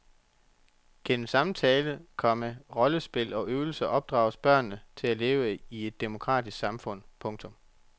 Gennem samtale, komma rollespil og øvelser opdrages børnene til at leve i et demokratisk samfund. punktum